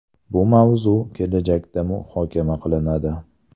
Bu mavzu kelajakda muhokama qilinadi.